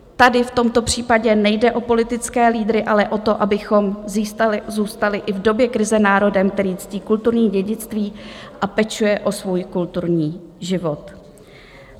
Tady v tomto případě nejde o politické lídry, ale o to, abychom zůstali i v době krize národem, který ctí kulturní dědictví a pečuje o svůj kulturní život.